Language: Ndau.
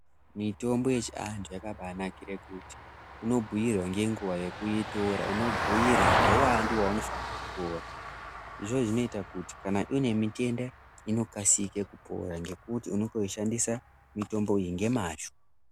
Mitombo yechiantu yakabanakire kuti unobhuirwa ngenguva yekuitora unobhuirwa ngeuvandu hwaunofanirwa kuutora. Izvozvo zvinoita kuti kana une mitenda inokasike kupora ngekuti unenge veishandisa mitombo iyi ngemazvo.